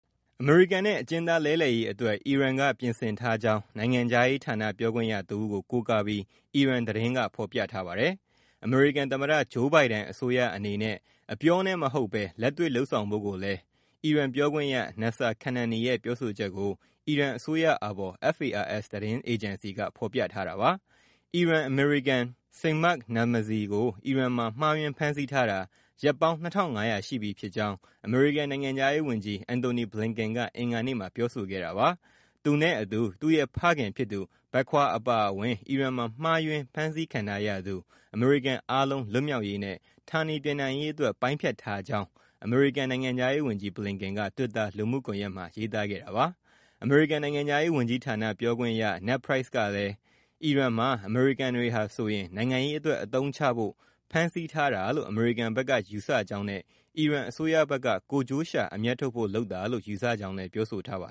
အမေရိကန်နဲ့ အကျဉ်းသားလဲလှယ်ရေး အတွက် အီရန်က ပြင်ဆင်ထားကြောင်း နိုင်ငံခြားရေး ဌာန ပြောခွင့်ရ တဦးကို ကိုးကားပြီး အီရန် သတင်းက ဖော်ပြပါတယ်။ အမေရိကန် သမ္မတ Joe Biden အစိုးရ အနေနဲ့ အပြောနဲ့ မဟုတ်ဘဲ လက်တွေ့ လုပ်ဆောင်ဖို့ကိုလည်း ပြောခွင့်ရ Nasser Kanaani ရဲ့ ပြောဆိုချက်ကို အီရန် အစိုးရအာဘော် FARS သတင်းအေဂျင်စီက ဖော်ပြထားတာပါ။ အီရန် အမေရိကန် Siamak Namazi ကို အီရန်မှာ မှားယွင်း ဖမ်းဆီးထားတာ ရက်ပေါင်း ၂,၅၀၀ ရှိပြီဖြစ်ကြောင်း အမေရိကန် နိုင်ငံခြားရေး ဝန်ကြီး Antony Blinken က အင်္ဂါနေ့မှာ ပြောဆိုခဲ့တာပါ။ သူနဲ့ အတူ သူ့ရဲ့ ဖခင်ဖြစ်သူ Baquer အပါအဝင် အီရန်မှာ မှားယွင်း ဖမ်းဆီးခံထားရသူ အမေရိကန် အားလုံး လွတ်မြောက်ရေးနဲ့ ဌာနေပြန်နိုင်ရေး အတွက် ပိုင်းဖြတ်ထားကြောင်း အမေရိကန် နိုင်ငံခြားရေး ဝန်ကြီး Blinken က တွစ်တာ လူမှုကွန်ရက်မှာ ရေးသားခဲ့တာပါ။ အမေရိကန် နိုင်ငံခြားရေး ဝန်ကြီးဌာန ပြောခွင့်ရ Ned Price ကလည်း အီရန်မှာ အမေရိကန်တွေဟာဆိုရင် နိုင်ငံရေး အတွက် အသုံးချဖို့ ဖမ်းဆီးထားတာလို့ အမေရိကန်ဘက်က ယူဆကြောင်းနဲ့ အီရန် အစိုးရဘက်က ကိုယ်ကျိုးရှာ အမြတ်ထုတ်ဖို့ လုပ်တာလို့ ယူဆကြောင်း ပြောဆိုထားပါ